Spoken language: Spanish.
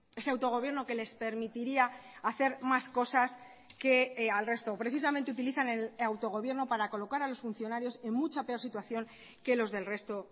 ese autogobierno que les permitiría hacer más cosas que al resto precisamente utilizan el autogobierno para colocar a los funcionarios en mucha peor situación que los del resto